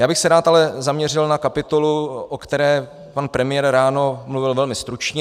Já bych se ale rád zaměřil na kapitolu, o které pan premiér ráno mluvil velmi stručně.